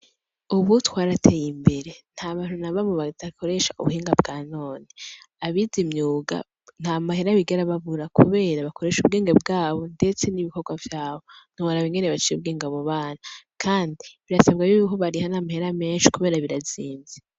Ubu twaraye imbere ntabantu nabamwe badakoresha ubuhinga bwa none. Abize imyuga ntamahera bigera babura kubera bakoresha ubwenge bwabo ndetse n'ibikorwa vyabo, ntiworaba ingene baciye ubwenge abo bana ,kandi birasabwa yuko bariha n'amahera menshi kubera birazimvye.